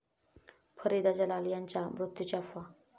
फरीदा जलाल यांच्या मृत्यूची अफवा